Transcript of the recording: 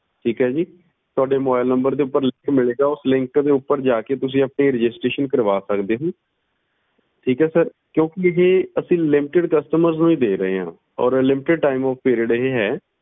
ਠੀਕ ਏ ਜੀ ਤੁਹਾਡੇ mobilenumber ਦੇ ਉੱਤੇ link ਮਿਲੇਗਾ ਉਸ ਦੇ ਉੱਪਰ ਜਾਕੇ ਤੁਸੀਂ registeration ਕਰਵਾ ਸਕਦੇ ਹੋ ਠੀਕ ਏ ਕਿਉਕਿ ਇਹ ਅਸੀ limitedcustomers ਨੂੰ ਹੀ ਦੇ ਰਹੇ ਆ ਤੇ limited ਦੇ time ਲਈ ਇਹ ਹੈ